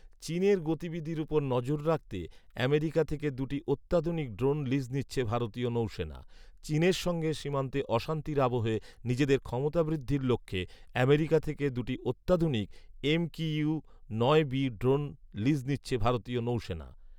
চীনের গতিবিধির উপর নজর রাখতে আমেরিকা থেকে দু'টি অত্যাধুনিক ড্রোন লিজ নিচ্ছে ভারতীয় নৌসেনা। চীনের সঙ্গে সীমান্তে অশান্তির আবহে নিজেদের ক্ষমতা বৃদ্ধির লক্ষ্যেআমেরিকা থেকে দুটি অত্যাধুনিক ‘এমকিউ নয় বি’ ড্রোন লিজ নিচ্ছে ভারতীয় নৌসেনা